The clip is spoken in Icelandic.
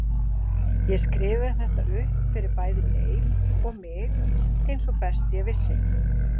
Ég skrifaði þetta upp fyrir bæði Leif og mig eins og best ég vissi.